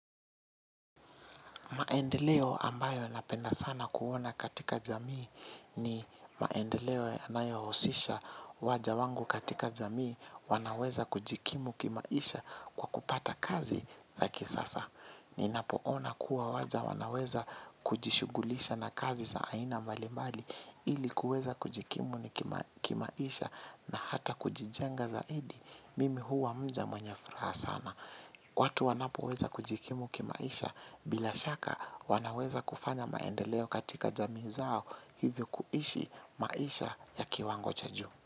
Maendeleo ambayo napenda sana kuona katika jamii ni maendeleo yanayohusisha waja wangu katika jamii wanaweza kujikimu kimaisha kwa kupata kazi za kisasa. Ninapoona kuwa waja wanaweza kujishughulisha na kazi za aina mbalimbali ili kuweza kujikimu kimaisha na hata kujijenga zaidi mimi huwa mja mwenye furaha sana. Watu wanapoweza kujikimu kimaisha bila shaka wanaweza kufanya maendeleo katika jamii zao hivyo kuishi maisha ya kiwango cha juu.